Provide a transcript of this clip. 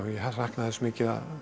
sakna þess mikið að